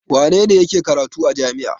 Wane ne yake karatu a jami'a?